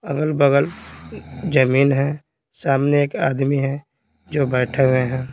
अगल-बगल जमीन है सामने एक आदमी है जो बैठे हुए हैं।